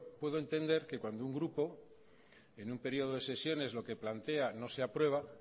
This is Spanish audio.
puedo entender que cuando un grupo en un periodo de sesiones lo que plantea no se aprueba